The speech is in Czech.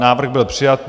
Návrh byl přijat.